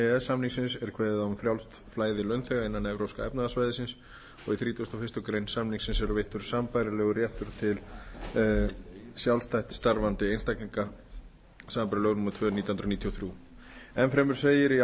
samningsins er kveðið á um frjálst flæði launþega innan evrópska efnahagssvæðisins og í þrítugasta og fyrstu grein samningsins er veittur sambærilegur réttur til sjálfstætt starfandi einstaklinga samanber lög númer tvö nítján hundruð níutíu og þrjú enn fremur segir í